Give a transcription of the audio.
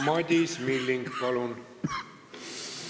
Madis Milling, palun!